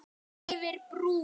Yfir brú.